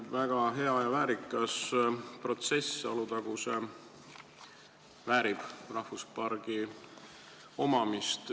Väga hea ja väärikas protsess – Alutaguse väärib rahvusparki.